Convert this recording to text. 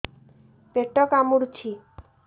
ପେଟ କାମୁଡୁଛି